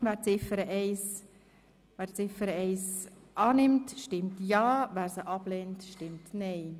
la planification, la Wer Ziffer 1 annimmt, stimmt ja, wer diese ablehnt, stimmt nein.